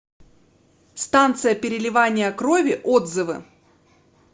станция переливания крови отзывы